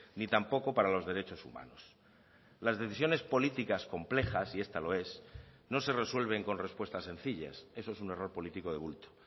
ni tampoco para los derechos humanos las decisiones políticas complejas y esta lo es no se resuelven con respuesta sencillas eso es un error político de bulto